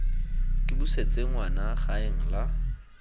ke busetse ngwana gaeng la